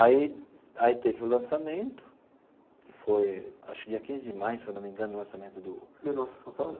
Aí aí teve o lançamento, foi, acho que dia quinze de maio, se eu não me engano, o lançamento do... Do Nossa São Paulo.